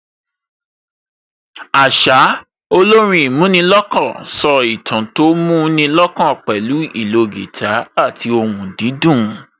Àṣá, olórin ìmúnilọ́kàn so ìtàn tó mú ni lọ́kàn pẹ̀lú ìlò guitar àti ohùn dídùn